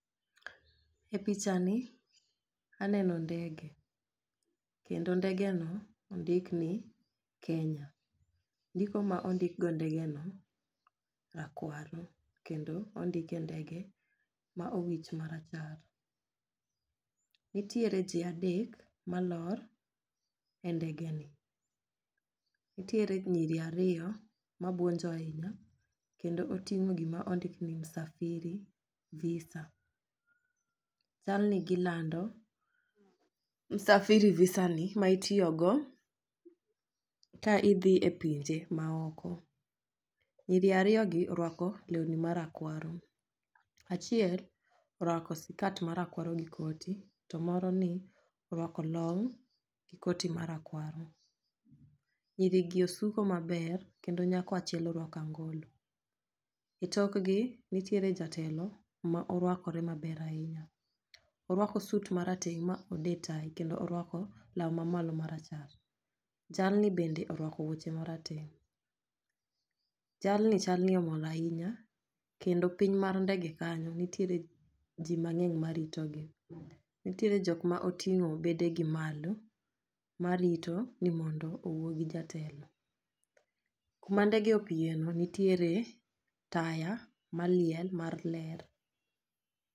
E picha ni aneno ndege kendo ndege no ondik ni kenya . Ndiko ma ondik go ndege no rakwaro kendo ondike ndege ma owich marachar. Nitiere jii adek malor e ndege ni. Nitiere nyiri ariyo mabuonjo ahinya kendo oting'o gima ondik ni safiri visa. Chalni gilando safiri visa ni ma itiyo go ka idhi e pinje ma oko. Nyiri ariyo gi orwako lewni marakwaro , achiel orwako sikat marakwaro gi koti to moro ni orwako long gi koti marakwaro. Nyiri gi osuko maber kendo nyako achiel orwako angolo. E tokgi nitiere jatelo ma orwakore maber ahinya orwako sut marateng' ma ode tayi kendo orwako law mamalo marachar. Jalni bende orwako wuoche marateng .Jalni chalni omor ahinya kendo piny mar ndege kanyo ntiere jii mang'eny ma rito gi .Nitiere jok ma oting'o bede gi malo marito ni mondo owuo gi jatelo. Kuma ndege opiye no nitiere taya maliel mar ler.